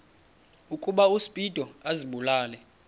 ukuba uspido azibulale